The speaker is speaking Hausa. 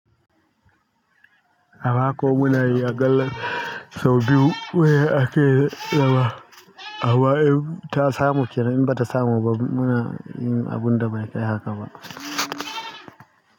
A mako muna yi aƙalla sau biyu. Kawao ake zama, amma in ta samu kenan in bata samu ba muna yin abun da bai tsaya haka ba.